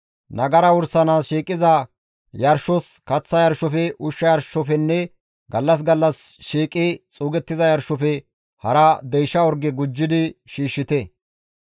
Nagara wursanaas shiiqiza yarshos, kaththa yarshofe, ushsha yarshofenne gallas gallas shiiqi xuugettiza yarshofe hara deysha orge gujjidi shiishshite.